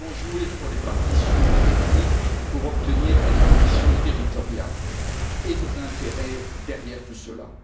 Nous avons joué sur les partitions ethniques pour obtenir des partitions territoriales et servir nos intérêts derrière tout cela.